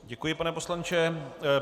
Děkuji, pane poslanče.